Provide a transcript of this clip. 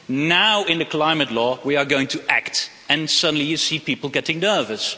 Now in the Climate Law we are going to act and suddenly you see people getting nervous.